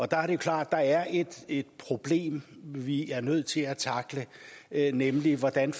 der er det klart at der er et et problem vi er nødt til at tackle nemlig hvordan